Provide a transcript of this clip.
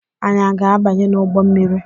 Anyi a ga-abanye n’ụgbọ mmiri?